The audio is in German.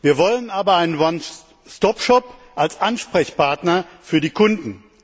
Wir wollen aber einen One Stop Shop als Ansprechpartner für die Kunden.